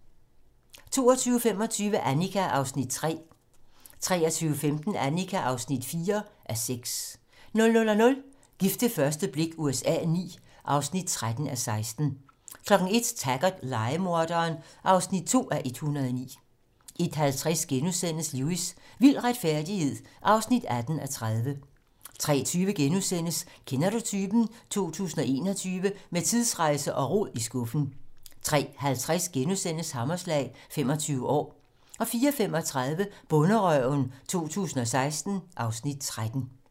22:25: Annika (3:6) 23:15: Annika (4:6) 00:00: Gift ved første blik USA IX (13:16) 01:00: Taggart: Lejemorderen (2:109) 01:50: Lewis: Vild retfærdighed (18:30)* 03:20: Kender Du Typen? 2021 - Med tidsrejse og rod i skuffen * 03:50: Hammerslag - 25 år * 04:35: Bonderøven 2016 (Afs. 13)